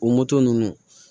O moto ninnu